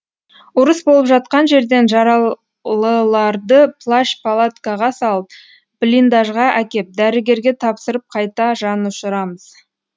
ұрыс болып жатқан жерден жаралыларды плащ палаткаға салып блиндажға әкеп дәрігерге тапсырып қайта жанұшырамыз